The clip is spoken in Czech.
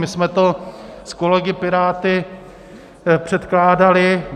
My jsme to s kolegy piráty předkládali.